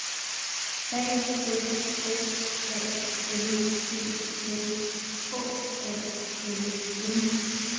A F F A L D S H A L M